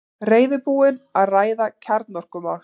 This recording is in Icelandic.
Reiðubúinn að ræða kjarnorkumál